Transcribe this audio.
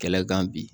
Kɛlɛkan bi